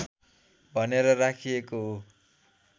भनेर राखिएको हो